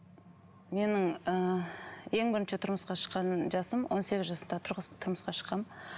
менің ы ең бірінші тұрмысқа шыққан жасым он сегіз жаста тұрмысқа шыққанмын